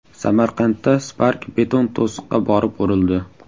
Samarqandda Spark beton to‘siqqa borib urildi.